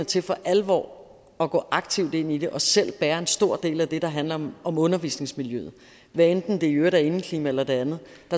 til for alvor at gå aktivt ind i det og selv bære en stor del af det der handler om om undervisningsmiljøet hvad enten det i øvrigt er indeklima eller det andet